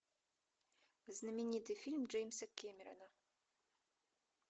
знаменитый фильм джеймса кэмерона